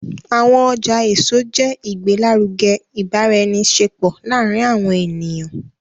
Awọn ọja eso ṣe igbelaruge ibaraenisepo laarin awọn eniyan